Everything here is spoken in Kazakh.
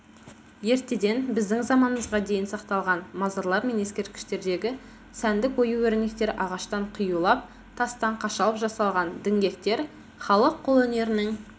ертеден біздің заманымызға дейін сақталған мазарлар мен ескерткіштердегі сәндік ою-өрнектер ағаштан қиюлап тастан қашалып жасалған дінгектер-халық қолөнерінің